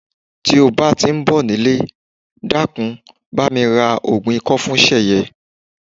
Ti o ba ti n bo nile, dakun, bami ra ogun iko fun Seye.